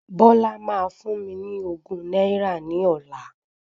Bọ́lá máa fún mi ní ogún náírà ní ọlá.